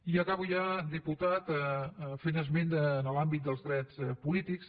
i acabo ja diputat fent esment de l’àmbit dels drets polítics